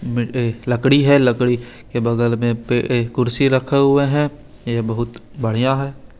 Mid ए लडकी है लकड़ी के बगल में पे ए कुर्सी रखे हुआ है ए बहुत बढ़िया है।